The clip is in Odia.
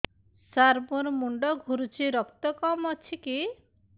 ସାର ମୋର ମୁଣ୍ଡ ଘୁରୁଛି ରକ୍ତ କମ ଅଛି କି